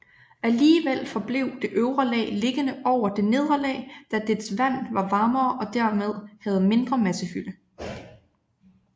Alligevel forblev det øvre lag liggende over det nedre lag da dets vand var varmere og dermed havde mindre massefylde